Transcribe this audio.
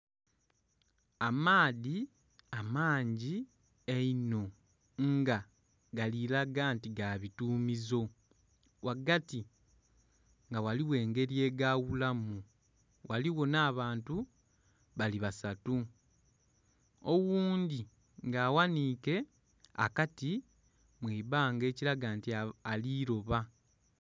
Amaadhi amangi einho nga galiraga nti gabitumizo ghagati nga ghaligho engeri egaghulamu ghaligho n'abantu bali basatu oghundhi nga aghanike akati mwibbanga ekiraga nti aliroba.